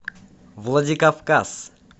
владикавказ